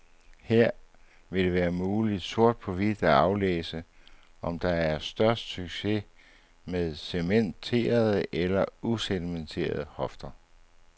Her vil det være muligt sort på hvidt at aflæse, om der er størst succes med cementerede eller ucementerede hofter.